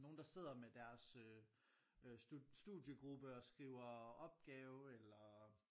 Nogen der sidder med deres øh studiegruppe og skriver opgave eller